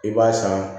I b'a san